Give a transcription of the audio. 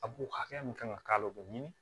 A b'o hakɛya min kan ka k'a la o bɛ ɲini